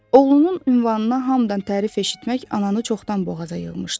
Oğlunun ünvanına hamıdan tərif eşitmək ananı çoxdan boğaza yığmışdı.